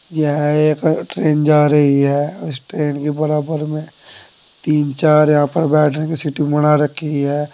यह एक ट्रेन जा रही है इस ट्रेन के बराबर में तीन चार यहां पर बैठने की सीटिंग बना रखी है।